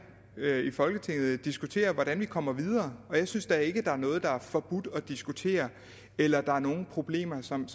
i folketinget diskutere hvordan vi kommer videre og jeg synes da ikke at der er noget der er forbudt at diskutere eller at der er nogen problemer som